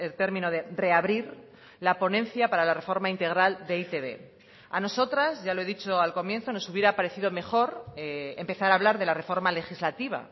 término de reabrir la ponencia para la reforma integral de e i te be a nosotras ya lo he dicho al comienzo nos hubiera parecido mejor empezar a hablar de la reforma legislativa